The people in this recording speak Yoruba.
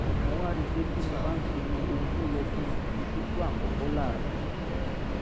mo wá rí i pé tí mo bá ń pinnu ohun tó yẹ kí n fi sípò àkọ́kọ́ láàárọ̀